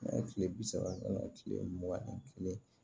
N'a ye kile bi saba ka na kile mugan ni kelen